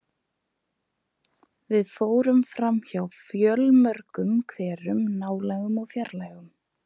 Við fórum framhjá fjölmörgum hverum, nálægum og fjarlægum.